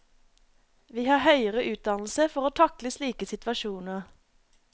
Vi har høyere utdannelse for å takle slike situasjoner.